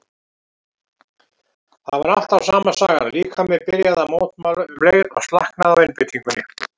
Það var alltaf sama sagan, líkaminn byrjaði að mótmæla um leið og slaknaði á einbeitingunni.